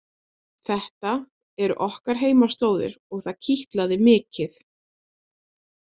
Þetta eru okkar heimaslóðir og það kitlaði mikið.